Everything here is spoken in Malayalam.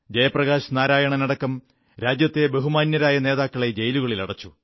ജയപ്രകാശ് നാരായണനടക്കം രാജ്യത്തെ ബഹുമാന്യരായ നേതാക്കളെ ജയിലുകളിലടച്ചു